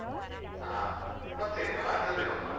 ಹಾ, ಮತ್ತೇನು ಅದ್ರಲ್ಲೆ ಹೋಗುವ.